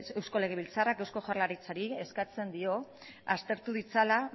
eusko legebiltzarrak eusko jaurlaritzari eskatzen dio aztertu ditzala